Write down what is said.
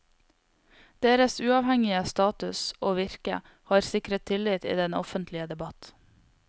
Deres uavhengige status og virke har sikret tillit i den offentlige debatt.